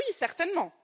Ah oui, certainement!